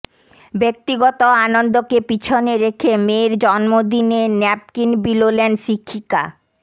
ব্যক্তিগত আনন্দকে পিছনে রেখে মেয়ের জন্মদিনে ন্যাপকিন বিলোলেন শিক্ষিকা